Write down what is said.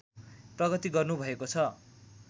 प्रगति गर्नुभएको छ